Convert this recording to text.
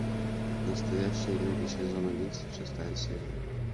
настоящие люди сезон одиннадцать шестая серия